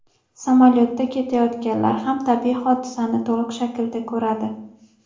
Samolyotda ketayotganlar ham tabiiy hodisani to‘liq shaklda ko‘radi.